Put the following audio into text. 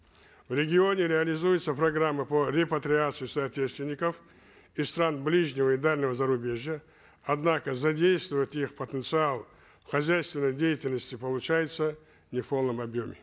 в регионе реализуется программа по репатриации соотечественников из стран ближнего и дальнего зарубежья однако задействовать их потенциал в хозяйственной деятельности получается не в полном объеме